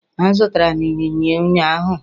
Azụtara m Ịnyịnya ụnyahụ